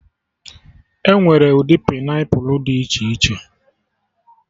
Enwere ụdị painiapụlụ dị iche iche